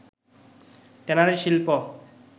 tannery শিল্প